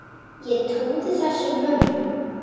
Ég trúði þessum mönnum.